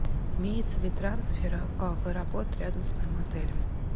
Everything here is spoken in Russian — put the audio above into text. имеется ли трансфер в аэропорт рядом с моим отелем